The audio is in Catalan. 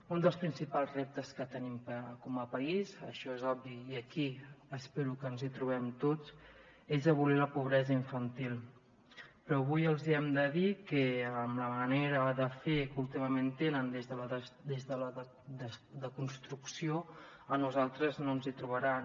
un dels principals reptes que tenim com a país això és obvi i aquí espero que ens hi trobem tots és abolir la pobresa infantil però avui els hem de dir que amb la manera de fer que últimament tenen des de la desconstrucció a nosaltres no ens hi trobaran